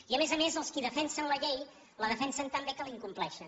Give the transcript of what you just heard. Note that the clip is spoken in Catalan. i a més a més els qui defensen la llei la defensen tan bé que l’incompleixen